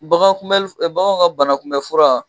Bagan kunbɛl f baganw ka banakunbɛ fura